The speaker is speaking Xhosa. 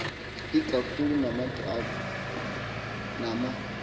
ikakhulu ngamagqabi nama